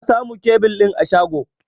Na samo kebil ɗin a shago.